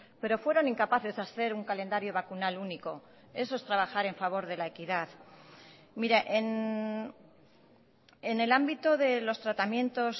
pero fueron incapaces de hacer un calendario vacunal único eso es trabajar en favor de la equidad mire en el ámbito de los tratamientos